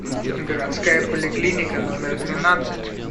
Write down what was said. городская поликлиника номер двенадцать